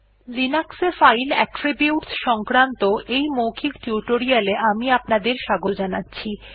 Linux file attributes সংক্রান্ত এই মৌখিক টিউটোরিয়াল এ আমি আপনাদের স্বাগত জানাচ্ছি